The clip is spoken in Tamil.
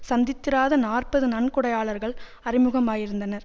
சந்தித்திராத நாற்பது நன்கொடையாளர்கள் அறிமுகமாயிருந்தனர்